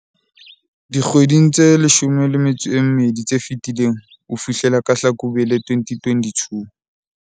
dikgweding tse 12 tse fetileng ho fihlela ka Hlakubele 2022.